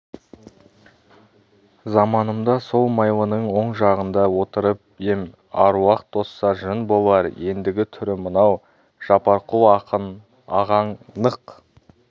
заманымда сол майлының оң жағында отырып ем аруақ тозса жын болар ендігі түрі мынау жапарқұл ақын ағаң нық